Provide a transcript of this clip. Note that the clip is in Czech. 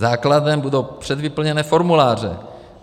Základem budou předvyplněné formuláře.